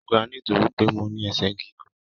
Mo gà nitoripe mo ní ẹsẹ gígùn.